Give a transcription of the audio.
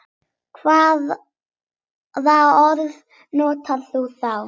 Hvaða orð notar þú þá?